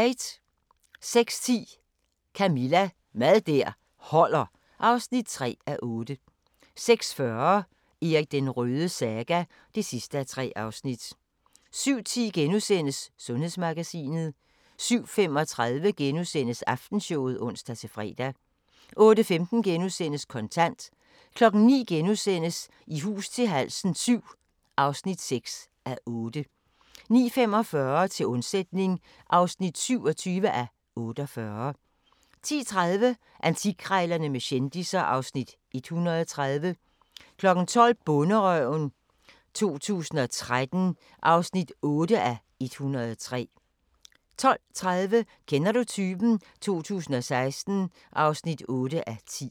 06:10: Camilla – Mad der holder (3:8) 06:40: Erik den Rødes saga (3:3) 07:10: Sundhedsmagasinet * 07:35: Aftenshowet *(ons-fre) 08:15: Kontant * 09:00: I hus til halsen VII (6:8)* 09:45: Til undsætning (27:48) 10:30: Antikkrejlerne med kendisser (Afs. 130) 12:00: Bonderøven 2013 (8:103) 12:30: Kender du typen? 2016 (8:10)